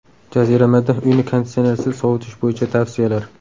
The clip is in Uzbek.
Jaziramada uyni konditsionersiz sovutish bo‘yicha tavsiyalar.